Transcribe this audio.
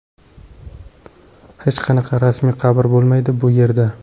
Hech qanaqa ramziy qabr bo‘lmaydi, bu yerda.